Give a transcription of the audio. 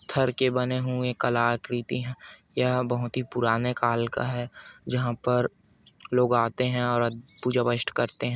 पत्थर के बने हुये कलाकृति हैंयह बहुत ही पुराने काल का हैं जहाँ पर लोग आते हैं और पूजा व्यसट करते हैं ।